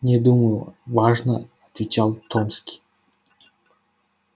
не думаю важно отвечал томский